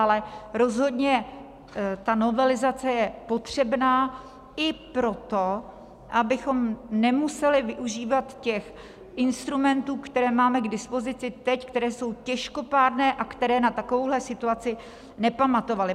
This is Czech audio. Ale rozhodně ta novelizace je potřebná i proto, abychom nemuseli využívat těch instrumentů, které máme k dispozici teď, které jsou těžkopádné a které na takovouhle situaci nepamatovaly.